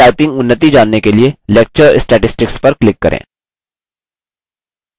अपनी typing उन्नति जानने के लिए lecture statistics पर click करें